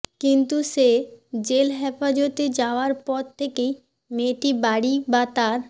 কিন্তু সে জেল হেফাজতে যাওয়ার পর থেকেই মেয়েটি বাড়ি বা তার